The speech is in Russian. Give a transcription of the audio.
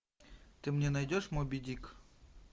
ты мне найдешь моби дик